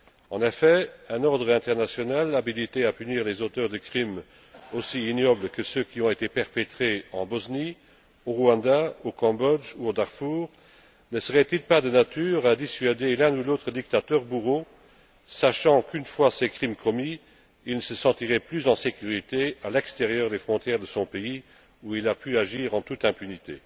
En effet, un ordre international habilité à punir les auteurs de crimes aussi ignobles que ceux qui ont été perpétrés en Bosnie, au Rwanda, au Cambodge, au Darfour, ne serait il pas de nature à dissuader l'un ou l'autre dictateur bourreau, sachant qu'une fois ses crimes commis, il ne se sentirait plus en sécurité à l'extérieur des frontières de son pays, où il a pu agir en toute impunité?